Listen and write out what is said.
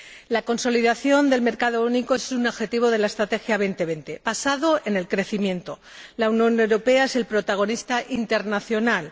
La consolidación del mercado único es un objetivo de la Estrategia 2020 basado en el crecimiento. La Unión Europea es el protagonista internacional.